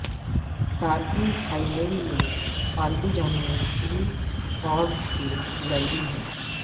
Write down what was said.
صارفین Thailand میں پالتو جانوروں کی فوڈز کے لیری ہیں